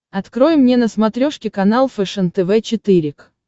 открой мне на смотрешке канал фэшен тв четыре к